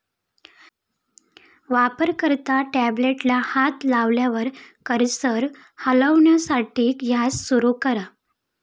वापरकर्ता टॅबलेटला हात लावल्यावर कर्सर हलवण्यासाठी यास सुरू करा.